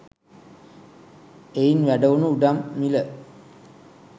එයින් වැඩවුණු ඉඩම් මිල